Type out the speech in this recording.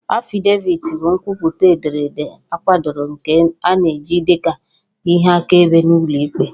Affidavit bụ nkwupụta ederede akwadoro nke a na-eji dị ka ihe akaebe n'ụlọ ikpe